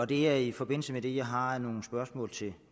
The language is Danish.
det er i forbindelse med det jeg har nogle spørgsmål til